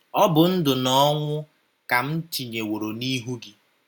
‘ Ọ bụ ndụ na ọnwụ, ka m tinyeworo n’ihu gị